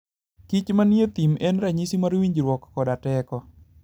kich manie thim en ranyisi mar winjruok koda teko.